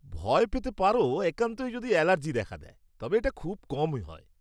ভয় পেতে পারো একান্তই যদি অ্যালার্জি দেখা দেয়, তবে এটা খুবই কম হয়।